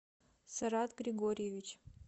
сарат григорьевич